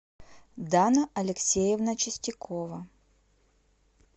дана алексеевна чистякова